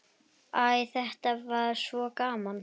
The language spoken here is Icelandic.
Æ, þetta var svo gaman.